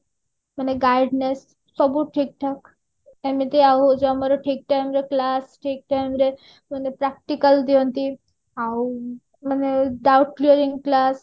ମାନେ gaudiness ସବୁ ଠିକ ଠାକ ଏମିତି ଏଇ ଯୋଉ ଆମର ଠିକ time ରେ class ଠିକ time ରେ ମାନେ practical ଦିଅନ୍ତି ଆଉ ମାନେ doubt class